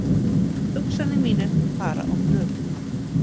Hugsanir mínar fara á flug.